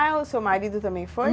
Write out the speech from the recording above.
Ah, o seu marido também foi?